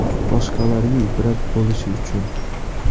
Boshqalarga ibrat bo‘lishi uchun.